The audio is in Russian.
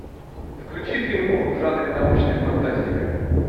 включи фильмуху в жанре научная фантастика